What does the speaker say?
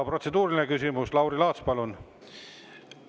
Protseduuriline küsimus, Lauri Laats, palun!